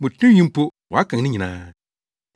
Mo tinwi mpo, wɔakan ne nyinaa.